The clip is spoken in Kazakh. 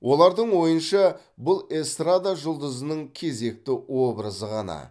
олардың ойынша бұл эстрада жұлдызының кезекті образы ғана